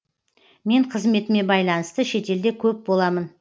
мен қызметіме байланысты шетелде көп боламын